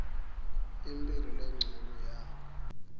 imphilo lencono yawo